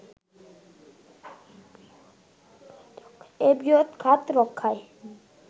এ বৃহৎ খাত রক্ষায়